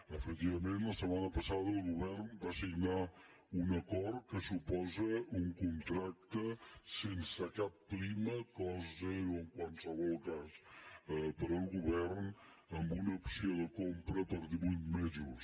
efectivament la setmana passada el govern va signar un acord que suposa un contracte sense cap prima cost zero en qualsevol cas per al govern amb una opció de com·pra per divuit mesos